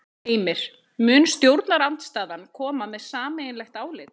Heimir: Mun stjórnarandstaðan koma með sameiginlegt álit?